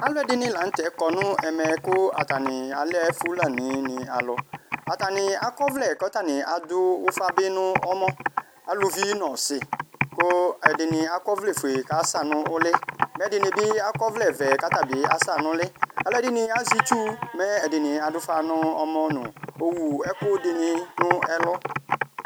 Alʋ ɛdini lanʋ tɛ kɔnʋ ɛmɛ kʋ atani alɛ fulanini alʋ atani akɔ ɔvlɛ kʋ adʋ ʋfabi dʋ ɔmɔ alʋvi nʋ ɔsi kʋ ɛdini akɔ ɔvlɛfue kʋ asa nʋ ʋlɩ mɛ ɛdini bi akɔ ɔvlɛvɛ kʋ asa nʋ ʋlɩ alʋ ɛdini azɛ itsʋ mɛ ɛdini adʋ ʋfa nʋ ɔmɔ nʋ owʋ ɛkʋ ɛdini nʋ ɛlʋ